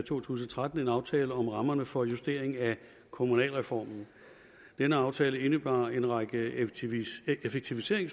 to tusind og tretten en aftale om rammerne for justering af kommunalreformen denne aftale indebar en række effektiviseringsforslag